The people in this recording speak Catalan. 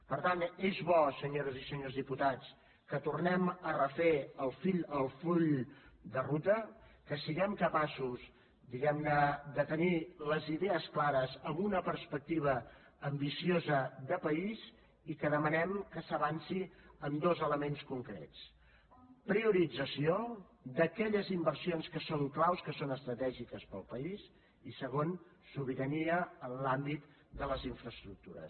per tant és bo senyores i senyors diputats que tornem a refer el full de ruta que siguem capaços diguem ne de tenir les idees clares amb una perspectiva ambiciosa de país i que demanem que s’avanci en dos elements concrets priorització d’aquelles inversions que són claus que són estratègiques per al país i segon sobirania en l’àmbit de les infraestructures